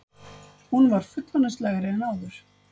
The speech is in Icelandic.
Hún var fullorðinslegri en áður.